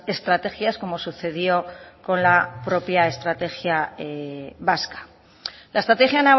estrategias como sucedió con la propia estrategia vasca la estrategia